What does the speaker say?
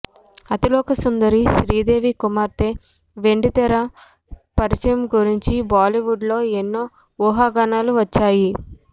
అతిలోకసుందరి శ్రీదేవి కుమార్తె వెండితెర పరిచయం గురించి బాలీవుడ్ లో ఎన్నో ఊహాగానాలు వచ్చాయి